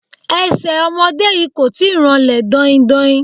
Ẹsẹ̀ ọmọdé yìí kò tíì ranlẹ̀ daindain